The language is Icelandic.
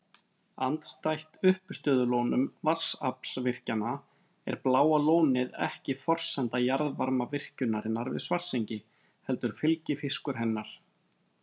Andstætt uppistöðulónum vatnsaflsvirkjana er Bláa lónið ekki forsenda jarðvarmavirkjunarinnar við Svartsengi heldur fylgifiskur hennar.